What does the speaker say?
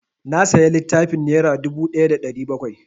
Na saya littafin nera dubu ɗaya da ɗari bakwai